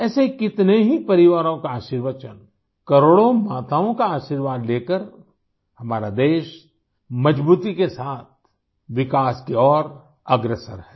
ऐसे कितने ही परिवारों का आशीर्वचन करोड़ों माताओं का आशीर्वाद लेकर हमारा देश मजबूती के साथ विकास की ओर अग्रसर है